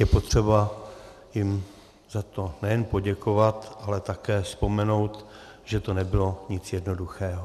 Je potřeba jim za to nejen poděkovat, ale také vzpomenout, že to nebylo nic jednoduchého.